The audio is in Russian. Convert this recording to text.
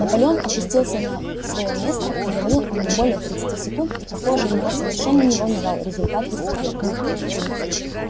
наполеон опустился на свою место говорил он не более тридцати секунд и похоже его совершенно не волновал результат выступления